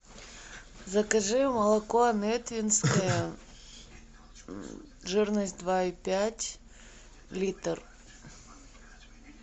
закажи молоко нетвинское жирность два и пять литр